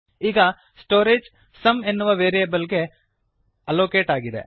ಈಗ storage sum ಎನ್ನುವ variable ಗೆ ಅಲ್ಲೋಕೇಟ್ ಆಗಿದೆ